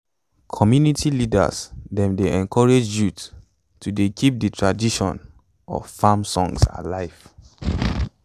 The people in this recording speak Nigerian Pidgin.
community leaders dem dey encourage youth to dey keep de tradition of farm songs alive